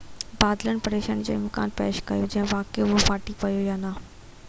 بادلن پريشاني جو امڪان پيش ڪيو آهي تہ واقعي اهو ڦاٽي پيو آهي يا نہ